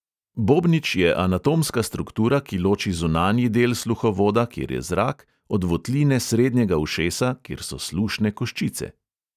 Bobnič je anatomska struktura, ki loči zunanji del sluhovoda, kjer je zrak, od votline srednjega ušesa, kjer so slušne koščice.